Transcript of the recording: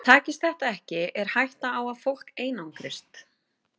Takist þetta ekki er hætta á að fólk einangrist.